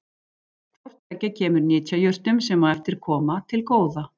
Hvort tveggja kemur nytjajurtum, sem á eftir koma, til góða.